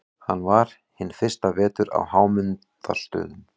Hann var hinn fyrsta vetur á Hámundarstöðum.